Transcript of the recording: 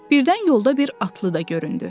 Birdən yolda bir atlı da göründü.